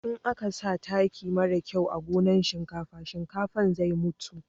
in a ka sa taki mara kyau a gonan shinkafa, shinkafan zai mutu